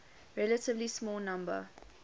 relatively small number